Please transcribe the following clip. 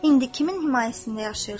İndi kimin himayəsində yaşayırsan?